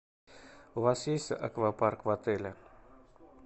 у вас есть аквапарк в отеле